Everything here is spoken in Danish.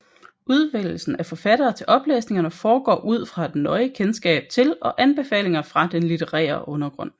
Udvælgelsen af forfattere til oplæsningerne foregår ud fra et nøje kendskab til og anbefalinger fra den litterære undergrund